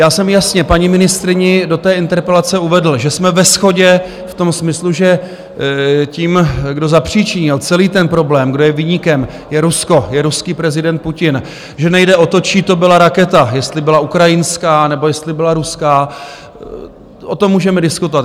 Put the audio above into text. Já jsem jasně paní ministryni do té interpelace uvedl, že jsme ve shodě v tom smyslu, že tím, kdo zapříčinil celý ten problém, kdo je viníkem, je Rusko, je ruský prezident Putin, že nejde o to, čí to byla raketa, jestli byla ukrajinská, nebo jestli byla ruská, o tom můžeme diskutovat.